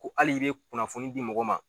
Ko al'i be kunnafoni di mɔgɔ ma